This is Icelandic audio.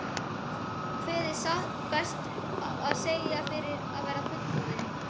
Kveið satt best að segja fyrir að verða fullorðinn.